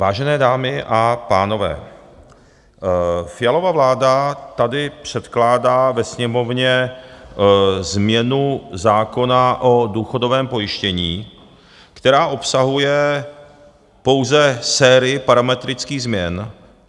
Vážené dámy a pánové, Fialova vláda tady předkládá ve Sněmovně změnu zákona o důchodovém pojištění, která obsahuje pouze sérii parametrických změn.